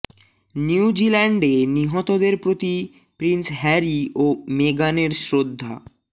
new জিল্যান্ডে নিহতদের প্রতি প্রিন্স হ্যারি ও মেগানের শ্রদ্ধা